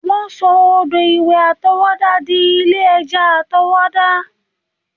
Wọ́n sọ odò ìwẹ̀ àtọwọ́dá dí ilé ẹja àtọwọ́dá